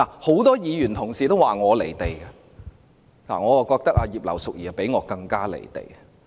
很多議員同事說我"離地"，但我認為葉劉淑儀議員比我更加"離地"。